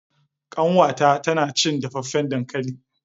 kanwata tana cin dafaffen dankali.